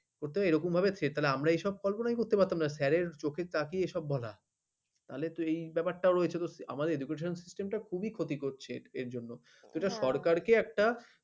ওইটা এরকমভাবে threat আমরা এইসব পারবো না কি করতে? করতে পারতাম না না sir র চোখে তাকিয়ে এসব বলা তাহলে তো এবারটাও রয়েছে আমাদের education system টা খুবই ক্ষতি করছি এর জন্য এটা সরকারকে একটা